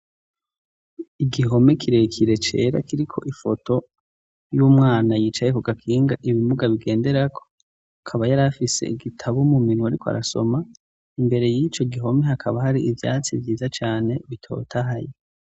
igihome kirekire cera kiri ko ifoto y'umwana yicaye ku gakinga ibimuga bigendera ko akaba yari afise igitabo mu minwe ariko arasoma imbere y'ico gihome hakaba hari ibyatsi byiza cyane bitotahaye